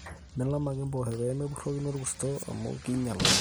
milam ake impoosho pee mepurrokino orkurto amu einyal oleng